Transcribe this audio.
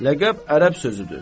Ləqəb ərəb sözüdür.